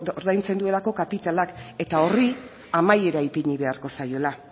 ordaintzen duelako kapitalak eta horri amaiera ipini beharko zaiola